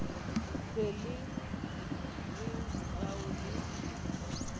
se le re rao le